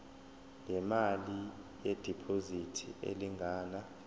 ngemali yediphozithi elingana